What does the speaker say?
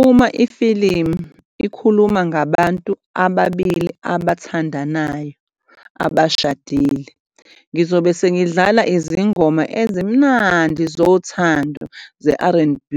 Uma ifilimu ikhuluma ngabantu ababili abathandanayo abashadile, ngizobe sengidlala izingoma ezimnandi zothando ze-R_N_B